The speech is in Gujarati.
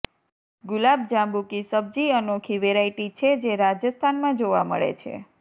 ગુલાબજાંબુ કી સબ્જી અનોખી વેરાયટી છે જે રાજસ્થાનમાં જોવા મળે છે